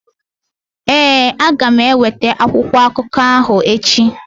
Ee, aga m eweta akwụkwọ akụkọ ahụ echi.